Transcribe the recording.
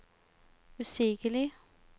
usigelig